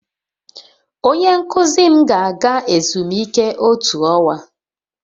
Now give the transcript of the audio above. Onye nkuzi m ga-aga ezumike otu ọnwa